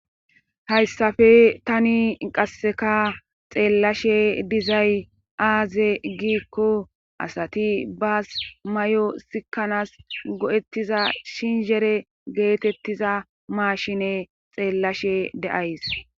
hayssafe tani qasseka xeellashe dizay aaze giikko asati baas may7o sikanas go7ettiza shinhere geetettiza maashine xeellashe deays